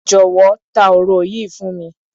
Jọ̀wọ́, ta òro yìí fún mi.